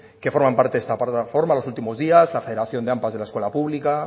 que forman parte de esta plataforma los últimos días la federación del ampa de la escuela pública